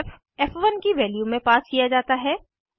फ़ फ़1 की वैल्यू में पास किया जाता है